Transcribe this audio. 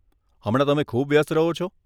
હમણાં તમે ખૂબ વ્યસ્ત રહો છો.